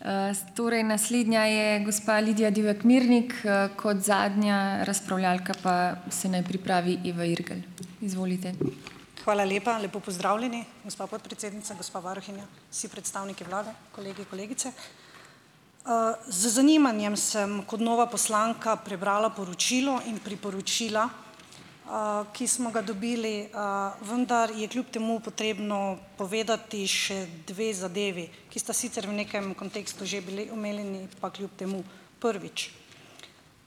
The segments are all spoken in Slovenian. Hvala lepa. Lepo pozdravljeni! Gospa podpredsednica, gospa varuhinja, vsi predstavniki vlade, kolegi kolegice! Z zanimanjem sem kot nova poslanka prebrala poročilo in priporočila, ki smo ga dobili. Vendar je kljub temu potrebno povedati še dve zadevi, ki sta sicer v nekem kontekstu že bili omenjeni, pa kljub temu. Prvič,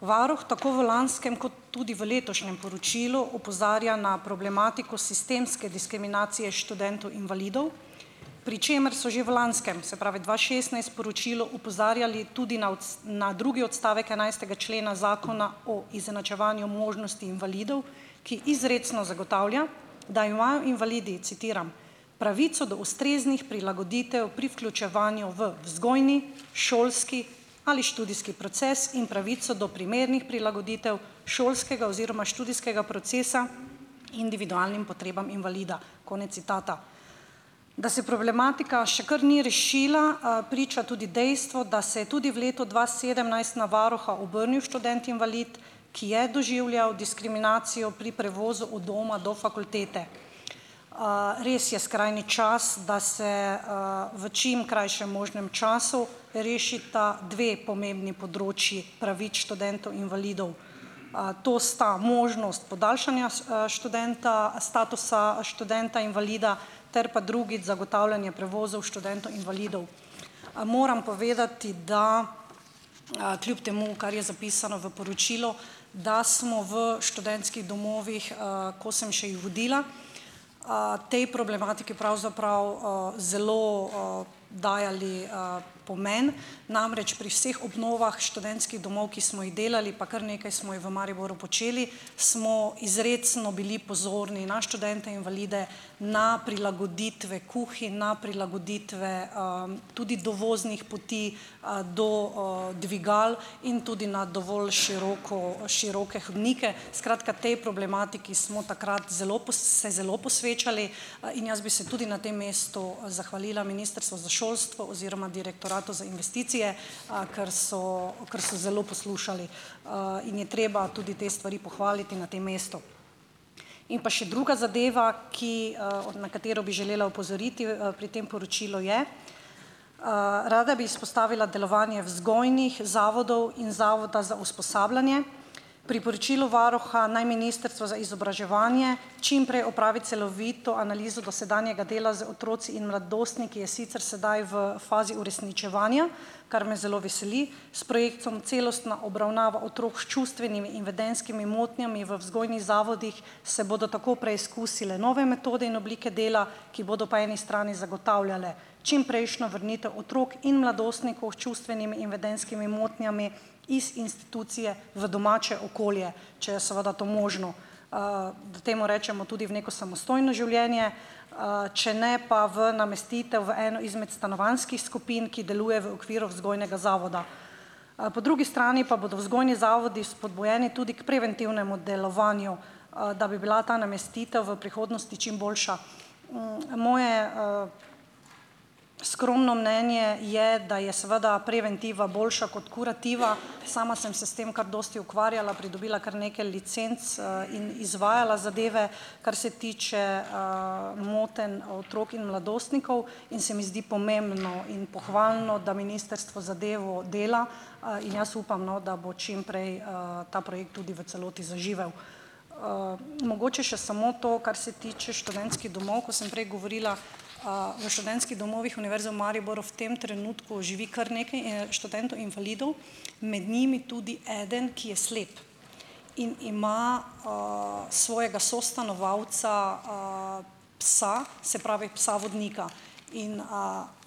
varuh tako v lanskem kot tudi v letošnjem poročilu opozarja na problematiko sistemske diskriminacije študentov invalidov, pri čemer so že v lanskem, se pravi dva šestnajst, poročilu opozarjali tudi na na drugi odstavek enajstega člena Zakona o izenačevanju možnosti invalidov, ki izrecno zagotavlja, da imajo invalidi, citiram, "pravico do ustreznih prilagoditev pri vključevanju v vzgojni, šolski ali študijski proces in pravico do primernih prilagoditev šolskega oziroma študijskega procesa individualnim potrebam invalida," konec citata. Da se problematika še kar ni rešila, priča tudi dejstvo, da se je tudi v letu dva sedemnajst na varuha obrnil študent invalid, ki je doživljal diskriminacijo pri prevozu od doma do fakultete. Res je skrajni čas, da se, v čim krajšem možnem času rešita dve pomembni področju pravic študentov invalidov. To sta možnost podaljšanja študenta statusa študenta invalida, ter pa drugič, zagotavljanje prevozov študentov invalidov. Moram povedati, da, kljub temu, kar je zapisano v poročilu, da smo v študentskih domovih, ko sem še jih vodila, tej problematiki pravzaprav, zelo, dajali, pomen. Namreč, pri vseh obnovah študentskih domov, ki smo jih delali, pa kar nekaj smo ji v Mariboru počeli, smo izrecno bili pozorni na študente invalide, na prilagoditve kuhinj, na prilagoditve, tudi dovoznih poti, do, dvigal in tudi na dovolj široko, široke hodnike. Skratka, tej problematiki smo takrat zelo se zelo posvečali. In jaz bi se tudi na tem mestu, zahvalila ministrstvu za šolstvo oziroma direktoratu za investicije, kar so kar so zelo poslušali. In je treba tudi te stvari pohvaliti na tem mestu. In pa še druga zadeva, ki, od na katero bi želela opozoriti, pri tem poročilu je. Rada bi izpostavila delovanje vzgojnih zavodov in zavoda za usposabljanje. Pri poročilu varuha, naj ministrstvo za izobraževanje čim prej opravi celovito analizo dosedanjega dela z otroki in mladostniki, je sicer sedaj v fazi uresničevanja, kar me zelo veseli. S projektom celostna obravnava otrok s čustvenimi in vedenjskimi motnjami v vzgojnih zavodih se bodo tako preizkusile nove metode in oblike dela, ki bodo po eni strani zagotavljale čimprejšnjo vrnitev otrok in mladostnikov s čustvenimi in vedenjskimi motnjami iz institucije v domače okolje, če je seveda to možno. Temu rečemo, tudi v neko samostojno življenje. Če ne pa v namestitev v eno izmed stanovanjskih skupin, ki deluje v okviru vzgojnega zavoda. Po drugi strani pa bodo vzgojni zavodi vzpodbujeni tudi k preventivnemu delovanju, da bi bila ta namestitev v prihodnosti čim boljša. Moje, skromno mnenje je, da je seveda preventiva boljša kot kurativa. Sama sem se s tem kar dosti ukvarjala, pridobila kar nekaj licenc, in izvajala zadeve, kar se tiče, motenj otrok in mladostnikov in se mi zdi pomembno in pohvalno, da ministrstvo zadevo dela. In jaz upam, no, da bo čim prej, ta projekt tudi v celoti zaživel. Mogoče še samo to, kar se tiče študentskih domov. Ko sem prej govorila, v študentskih domovih Univerze v Mariboru v tem trenutku živi kar nekaj študentov invalidov. Med njimi tudi eden, ki je slep. In ima, svojega sostanovalca, psa, se pravi psa vodnika. In,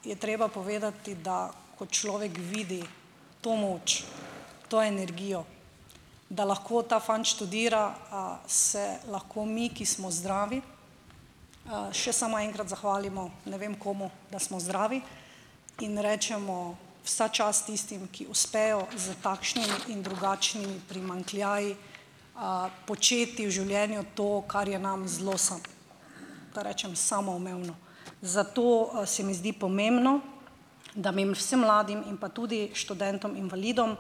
je treba povedati, da ko človek vidi to moč, to energijo, da lahko ta fant študira, se lahko mi, ki smo zdravi, še samo enkrat zahvalimo, ne vem komu, da smo zdravi, in rečemo: "Vsa čast tistim, ki uspejo s takšnimi in drugačnimi primanjkljaji početi v življenju to, kar je nam zelo da rečem, samoumevno." Zato, se mi zdi pomembno, da bi vsem mladim in pa tudi študentom invalidom,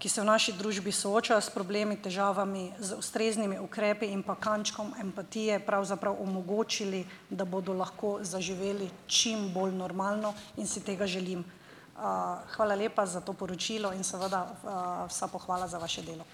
ki se v naši družbi soočajo s problemi, težavami, z ustreznimi ukrepi in pa kančkom empatije pravzaprav omogočili, da bodo lahko zaživeli čim bolj normalno, in si tega želim. Hvala lepa za to poročilo in seveda, vsa pohvala za vaše delo.